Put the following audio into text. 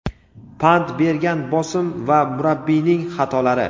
pand bergan bosim va murabbiyning xatolari.